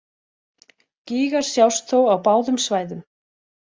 Gígar sjást þó á báðum svæðum.